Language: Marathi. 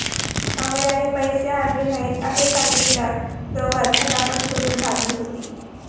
अमर याने पैसे आणले नाहीत असे सांगितल्यावर दोघांत झटापट सुरु झाली होती